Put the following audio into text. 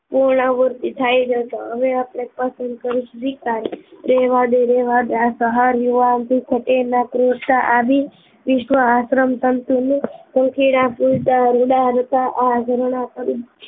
પૂર્ણાહૂતિ થાય જશે હવે આપણે પસંદ કરીશું રેહેવા દે રહેવા દે આ સહાર યુવાન થી થતે નાં ક્રૂરતા આવી રીતનું આશ્રમ તંતુનુ પંખીડા ઉડતા રૂડા રતા આ ઝરણાં તરી